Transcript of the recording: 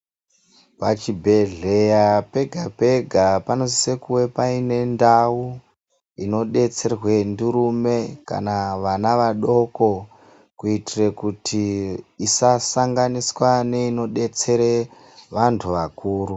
Pachibhedhleya pega pega panosise kunge paine ndau inodetserwe ndurume kana ana adoko kuitire kuti isasanganiswe neinodetsere vantu vakuru.